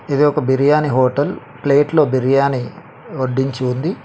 ఇది ఒక బిర్యానీ హోటల్ ప్లేట్లో బిర్యాని వడ్డించి ఉంది.